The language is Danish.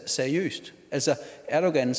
seriøst altså erdogan